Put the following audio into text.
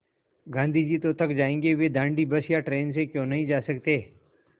गाँधी जी तो थक जायेंगे वे दाँडी बस या ट्रेन से क्यों नहीं जा सकते